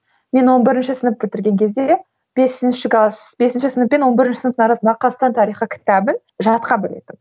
мен он бірінші сынып бітірген кезде бесінші класс бесінші сынып пен он бірінші сынып арасындағы қазақстан тарихы кітабын жатқа білетінмін